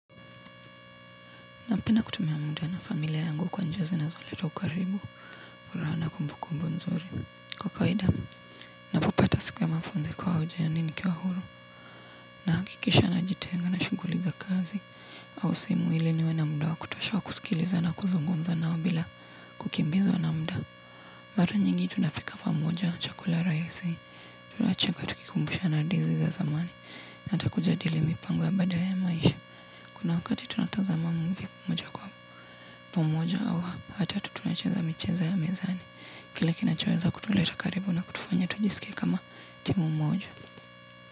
Napenda kutumia muda na familia yangu kwa njia zinazoleta ukaribu furaha na kumbukumbu nzuri kwa kawaida napopata siku ya mapumziko au nikiwa huru nahakikisha najitenga na shughuli za kazi au simu ili niwe na muda wa kutosha wa kusikiliza na kuzungunmza nao bila kukimbizwa na muda. Mara nyingi tunapika pamoja chakula rahisi tunacheka tukikumbushana hadithi za zamani. Hata kujadili mipango ya baada ya maisha. Kuna wakati tunatazama mmoja kwa mmoja au hata tunacheza michezo ya mezani. Kile kinachoeza kutuleta karibu na kutufanya tujisikie kama timu mmoja.